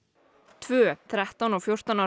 tvö þrettán og fjórtán ára